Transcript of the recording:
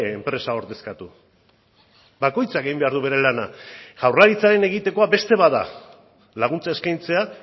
enpresa ordezkatu bakoitzak egin behar du bere lana jaurlaritzaren egitekoa beste bat da laguntza eskaintzea